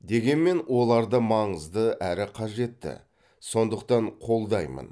дегенмен олар да маңызды әрі қажетті сондықтан қолдаймын